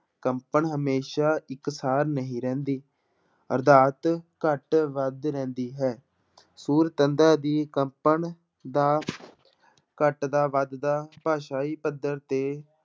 ਕੰਪਣ ਹਮੇਸ਼ਾ ਇੱਕ ਸਾਰ ਨਹੀਂ ਰਹਿੰਦੀ ਅਰਥਾਤ ਘੱਟ ਵੱਧ ਰਹਿੰਦੀ ਹੈ ਸੁਰ ਤੰਦਾਂ ਦੀ ਕੰਪਨ ਦਾ ਘੱਟਦਾ ਵੱਧਦਾ ਭਾਸ਼ਾਈ ਪੱਧਰ ਤੇ